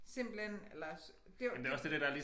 Simpelthen eller det var det